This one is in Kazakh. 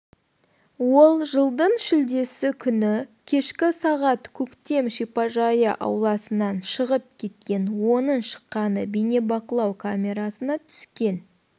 ол жылдың шілдесі күні кешкі сағат көктем шипажайы ауласынан шығып кеткен оның шыққаны бейнебақылау камерасына түскен